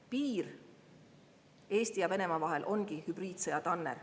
Piir Eesti ja Venemaa vahel ongi hübriidsõja tanner.